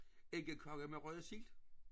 Æggekage med røget sild?